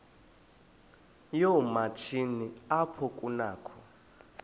yoomatshini apho kunakho